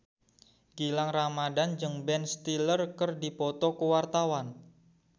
Gilang Ramadan jeung Ben Stiller keur dipoto ku wartawan